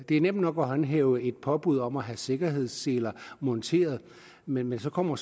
er nemt nok at håndhæve et påbud om at have sikkerhedsseler monteret men så kommer